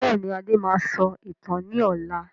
Bẹ́ẹ̀ni, Adé máa sọ ìtàn ni ọ̀la.